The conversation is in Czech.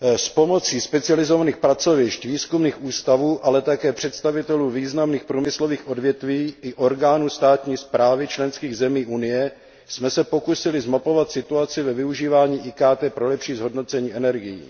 S pomocí specializovaných pracovišť, výzkumných ústavů, ale také představitelů významných průmyslových odvětví i orgánů státní správy členských zemí Unie jsme se pokusili zmapovat situaci ve využívání IKT pro lepší zhodnocení energií.